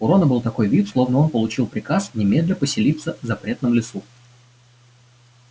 у рона был такой вид словно он получил приказ немедля поселиться в запретном лесу